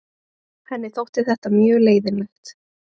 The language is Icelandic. Henni þótti þetta mjög leiðinlegt.